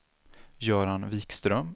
Göran Wikström